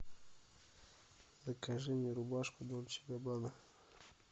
закажи мне рубашку дольче габбана